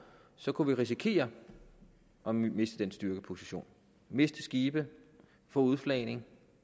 så kunne vi risikere at miste den styrkeposition miste skibe få udflagning